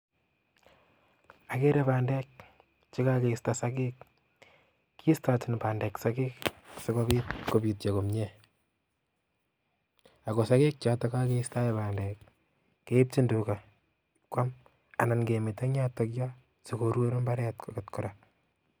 Ageere bandek chekokeistoo sogeek ,kistoochin bandek sogeek sikobiit kobityoo komie ak ko sogeek choton kokeistoen bandek I keibchin tugaa kuam anan kemeto eng yoton yoh sikoruur imbaret kora